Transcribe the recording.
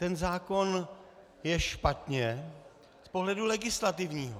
Ten zákon je špatně z pohledu legislativního.